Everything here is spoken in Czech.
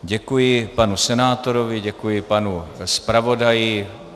Děkuji panu senátorovi, děkuji panu zpravodaji.